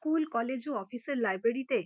কুল college ও অফিসের লাইব্রেরিতে --